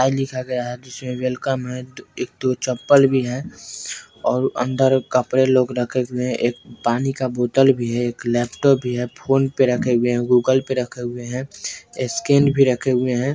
लिखा गया है जिसमें वेलकम है एक-दो चप्पल भी है अंदर कपड़े रखे हुए है पानी का बोतल भी है एक लैपटॉप भी है फोन भी रखे हुए है बुक रखा हुआ है स्कैन भी रखे हुए है।